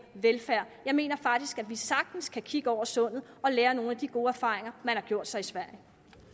velfærd jeg mener faktisk at vi sagtens kan kigge over sundet og lære af nogle af de gode erfaringer man har gjort sig i sverige